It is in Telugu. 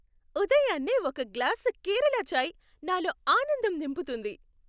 ఉదయాన్నే ఒక గ్లాసు కేరళ చాయ్ నాలో ఆనందం నింపుతుంది.